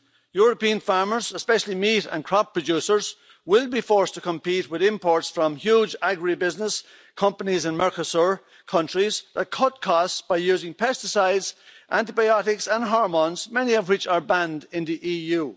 European farmers especially meat and crop producers will be forced to compete with imports from huge agribusiness companies in Mercosur countries that cut costs by using pesticides, antibiotics and hormones many of which are banned in the EU.